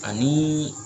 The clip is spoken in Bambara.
Ani